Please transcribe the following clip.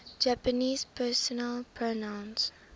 japanese personal pronouns